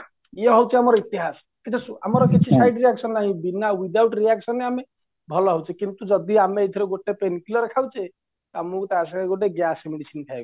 ଇଏ ହଉଚି ଆମର ଇତିହାସ କିନ୍ତୁ ଆମର କିଛି side reaction ନାହିଁ ବିନା without reactionରେ ଆମେ ଭଲ ହଉଛେ କିନ୍ତୁ ଯଦି ଆମେ ଏଇଥିରେ ଗୋଟେ pen clear ଖାଉଛେ ଆମକୁ ତା ସାଙ୍ଗରେ ଗୋଟେ gas medicine ଖାଇବାକୁ ପଡିବ